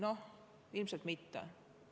No ilmselt mitte.